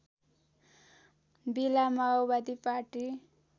बेला माओवादी पार्टी